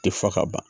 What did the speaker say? Tɛ fɔ ka ban